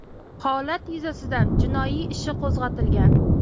Holat yuzasidan jinoiy ishi qo‘zg‘atilgan.